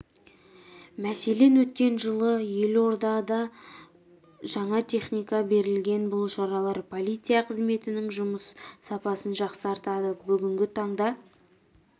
мәселен өткен жылы елорда жаңа техника берілген бұл шаралар полиция қызметінің жұмыс сапасын жақсартады бүгінгі таңда